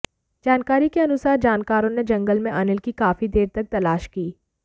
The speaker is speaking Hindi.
जानकारी के अनुसार जानकारों ने जंगल में अनिल की काफी देर तक तलाश की